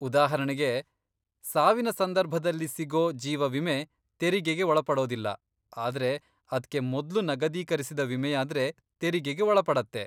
ಉದಾಹರಣೆಗೆ, ಸಾವಿನ ಸಂದರ್ಭದಲ್ಲಿ ಸಿಗೋ ಜೀವ ವಿಮೆ ತೆರಿಗೆಗೆ ಒಳಪಡೋದಿಲ್ಲ, ಆದ್ರೆ ಅದ್ಕೆ ಮೊದ್ಲು ನಗದೀಕರಿಸಿದ ವಿಮೆಯಾದ್ರೆ ತೆರಿಗೆಗೆ ಒಳಪಡತ್ತೆ.